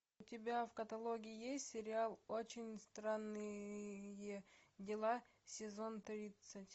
у тебя в каталоге есть сериал очень странные дела сезон тридцать